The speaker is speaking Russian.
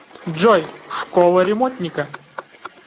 джой школа ремонтника